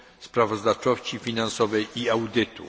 sprawozdawczości finansowej i audytu.